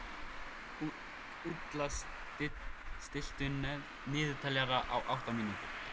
Úlla, stilltu niðurteljara á áttatíu mínútur.